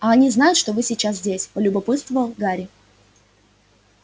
а они знают что вы сейчас здесь полюбопытствовал гарри